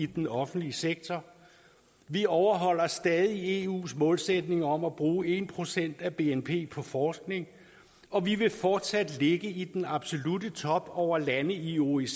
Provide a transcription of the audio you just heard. den offentlige sektor vi overholder stadig eus målsætning om at bruge en procent af bnp på forskning og vi vil fortsat ligge i den absolutte top over lande i oecd